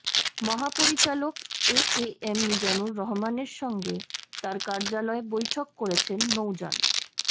মহাপরিচালক একেএম মিজানুর রহমানের সঙ্গে তার কার্যালয়ে বৈঠক করেছেন নৌযান